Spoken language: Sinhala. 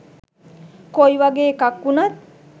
කොයිවගේ එකක් වුනත්